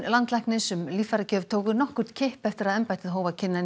landlæknis um líffæragjöf tóku nokkurn kipp eftir að embættið hóf að kynna